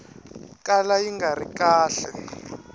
kala yi nga ri kahle